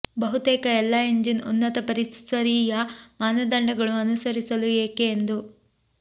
ಬಹುತೇಕ ಎಲ್ಲಾ ಎಂಜಿನ್ ಉನ್ನತ ಪರಿಸರೀಯ ಮಾನದಂಡಗಳು ಅನುಸರಿಸಲು ಏಕೆ ಎಂದು